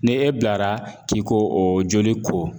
Ni e bilara k'i k'o o joli ko.